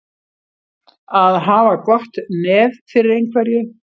Að hafa gott nef fyrir einhverju